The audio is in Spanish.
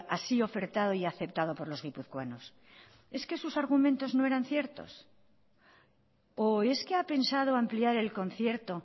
así ofertado y aceptado por los guipuzcoanos es que sus argumentos no eran ciertos o es que ha pensado ampliar el concierto